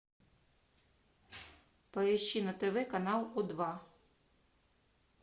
поищи на тв канал о два